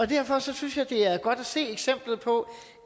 derfor synes jeg det er godt at se eksemplet på